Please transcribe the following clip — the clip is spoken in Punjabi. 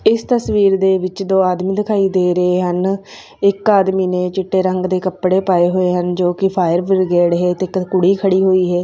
ਇਸ ਤਸਵੀਰ ਦੇ ਵਿਚ ਦੋ ਆਦਮੀ ਦਿਖਾਈ ਦੇ ਰਹੇ ਹਨ ਇੱਕ ਆਦਮੀ ਨੇ ਚਿੱਟੇ ਰੰਗ ਦੇ ਕੱਪੜੇ ਪਾਏ ਹੋਏ ਹਨ ਜੋ ਕਿ ਫਾਇਰ ਬ੍ਰਿਗੇਡ ਹੈ ਤੇ ਇੱਕ ਕੁੜੀ ਖੜੀ ਹੋਈ ਹੈ।